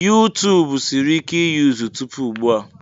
YuTubu siri ike iyuzu tupu ugbu a.